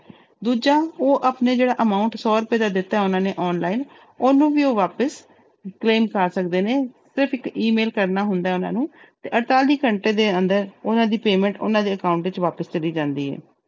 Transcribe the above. ਦੂਜਾ ਉਹ ਆਪਣੇ ਜਿਹੜਾ amount ਸੌ ਰੁਪਏ ਦਾ ਦਿੱਤਾ ਹੈ ਉਹਨਾਂ ਨੇ online ਉਹਨੂੰ ਵੀ ਉਹ ਵਾਪਸ claim ਕਰ ਸਕਦੇ ਨੇ, ਸਿਰਫ਼ ਇੱਕ E mail ਕਰਨਾ ਹੁੰਦਾ ਹੈ ਉਹਨਾਂ ਨੂੰ ਤੇ ਅੜਤਾਲੀ ਘੰਟੇ ਦੇ ਅੰਦਰ ਉਹਨਾਂ ਦੀ payment ਉਹਨਾਂ ਦੇ account ਵਿੱਚ ਵਾਪਿਸ ਚਲੀ ਜਾਂਦੀ ਹੈ।